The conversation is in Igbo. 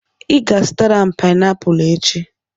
Ị ga-azụtara m painiapulu echi.